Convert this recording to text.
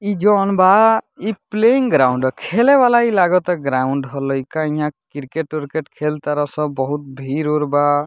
ई जोन बा ई प्लेइंग ग्राउंड ह खेले वाला ई लागता ग्राउंड ह लईका इहां क्रिकेट उरकेट खेल तार सब बहुत भीड़ उड़ बा।